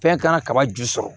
Fɛn kana kaba ju sɔrɔ